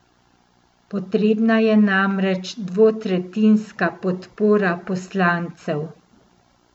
Potrebna je namreč dvotretjinska podpora poslancev.